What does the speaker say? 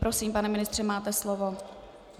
Prosím, pane ministře, máte slovo.